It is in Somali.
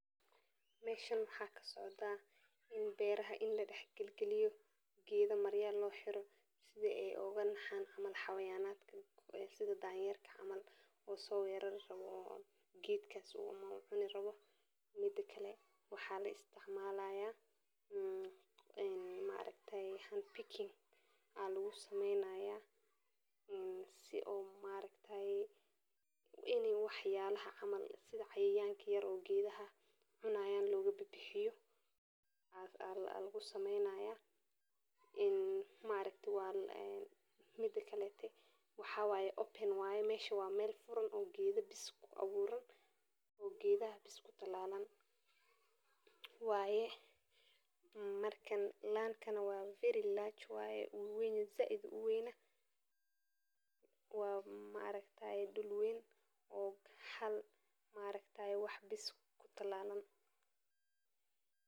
meeshan waxaa ka socdaa beeraha in la dexdexgeliyee geeda marya loo xiro sida ay ooga naxaan xayawaanada sida danyeerka oo so weerari rabo geedkaas ama uu cuni rawo, mida kale waxaa la istacmalaaya een maaragtayee hand picking aa lagu sameynaya mmmh. Beeraha waxaa lagaga reebaa xayawaanka iyadoo la adeegsanayo qaabab kala duwan oo ay ka mid yihiin in la dhiso darbiyaal adag oo ka samaysan bir, alwaax, ama geedaha qallalan, in la isticmaalo qoryo iyo shandado xooggan oo xayawaanka awood u lahayn inay jebiyaan, in la sameeyo dhuulo dheer oo ay ku jiraan caleemo qallalan ama qodxo adag oo xayawaanka dhibta, in la shido xadhig koronto oo ka dhigaya in xayawaanku ay ka fogaadaan